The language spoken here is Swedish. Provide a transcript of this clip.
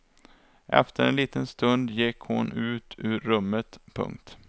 Efter en liten stund gick hon ut ur rummet. punkt